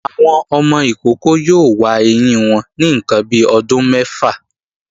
Àwọn ọmọ ìkókó yóò wa ẹyín wọn ní ǹkan bi ọdún mẹ́fà